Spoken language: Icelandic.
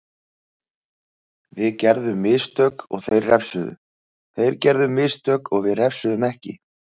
Við gerðum mistök og þeir refsuðu, þeir gerðu mistök við refsuðum ekki.